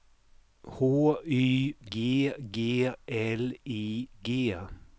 H Y G G L I G